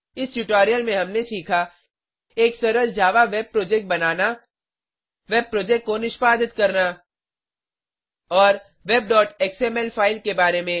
इस ट्यूटोरियल में हमने सीखा एक सरल जावा वेब प्रोजेक्ट बनाना वेब प्रोजेक्ट को निष्पादित करना और वेब xml फाइल के बारे में